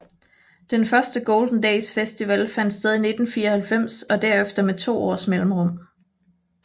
Den første Golden Days festival fandt sted i 1994 og derefter med to års mellemrum